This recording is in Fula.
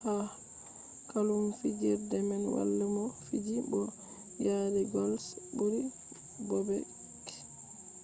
ha klub fijerde man wala mo fiji bo yari gols ɓuri bobek